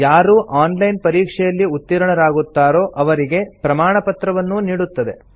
ಯಾರು online ಪರೀಕ್ಷೆಯಲ್ಲಿ ಉತ್ತೀರ್ಣರಾಗುತ್ತಾರೋ ಅವರಿಗೆ ಪ್ರಮಾಣಪತ್ರವನ್ನೂ ನೀಡುತ್ತದೆ